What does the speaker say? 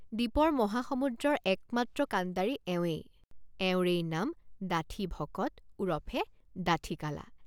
দীপৰ মহাসমুদ্ৰৰ একমাত্ৰ কাণ্ডাৰী এৱেঁই। এওঁৰেই নাম ডাঠি ভকত ওৰফে ডাঠি কালা।